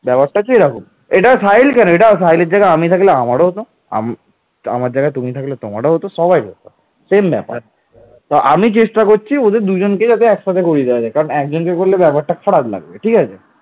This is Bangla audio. এই ঘটনাটি তৎকালীন বিখ্যাত মহাকাব্য ধর্ম মঙ্গলে উল্লেখ আছে